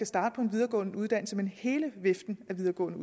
starte på en videregående uddannelse men på hele viften af videregående